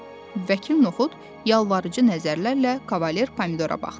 Vəkil Nuxud yalvarıcı nəzərlərlə Kavalye Pomidora baxdı.